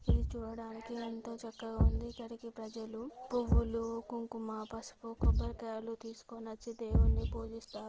ఇది చూడడానికి ఎంతో చకగా ఉంది. ఇక్కడికి ప్రజాలు పువ్వులు కుంకుమ పసుపు కొబరికాయలు తీసుకొనియోచి దేవుడికి పూజిస్తారు.